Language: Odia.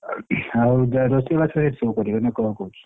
ଆଉ ରୋଷେଇ ବାସ ସେଠି ସବୁ କରିବେ ନା କଣ କହୁଛୁ?